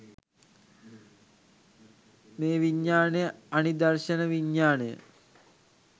මේ විඥානය අනිදර්ශන විඥානය